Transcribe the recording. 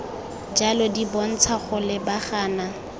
jalo di bontsha go lebagana